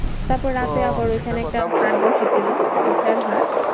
তারপর রাতে আবার ঐখানে একটা হাট বসেছিল। হাট